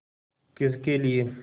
किसके लिए